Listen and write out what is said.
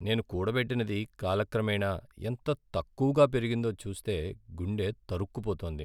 నేను కూడబెట్టినది కాలక్రమేణా ఎంత తక్కువగా పెరిగిందో చూస్తే గుండె తరుక్కుపోతోంది.